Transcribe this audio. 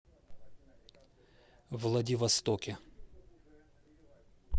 владивостоке